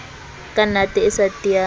ka nate e sa tiyang